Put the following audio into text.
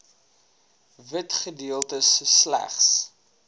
wit gedeeltes slegs